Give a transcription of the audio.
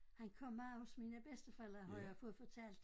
Han kom meget hos mine bedsteforældre har jeg fået fortalt